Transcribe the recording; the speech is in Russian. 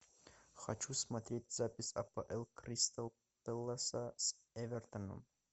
хочу смотреть запись апл кристал пэласа с эвертоном